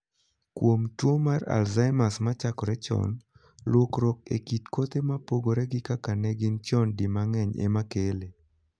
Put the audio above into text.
Kuom tuo mar 'Alzheimers' ma chakore chon, lokruok e kit kothe ma pogre gi kaka ne gin chon di mang'eny ema kele.